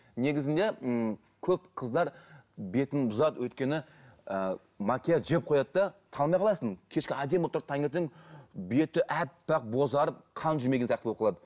негізінде ммм көп қыздар бетін бұзады өйткені ы макияж жеп қояды да танымай қаласың кешке әдемі болып тұрады таңертең беті аппақ бозарып қан жүрмеген сияқты болып қалады